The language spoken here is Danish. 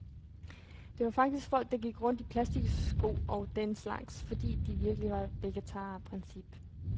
Der var faktisk folk, der gik rundt i plastiksko og den slags, fordi de virkelig var vegetarer af princip.